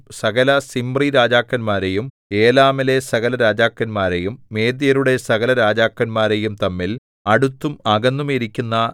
സകല സിമ്രിരാജാക്കന്മാരെയും ഏലാമിലെ സകല രാജാക്കന്മാരെയും മേദ്യരുടെ സകല രാജാക്കന്മാരെയും തമ്മിൽ അടുത്തും അകന്നും ഇരിക്കുന്ന